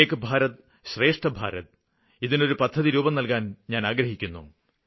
ഏക് ഭാരത് ശ്രേഷ്ഠ് ഭാരത് ഇതിനൊരു പദ്ധതി രൂപം നല്കാന് ഞാന് ആഗ്രഹിക്കുന്നു